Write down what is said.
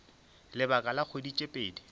lebaka la kgwedi tše pedi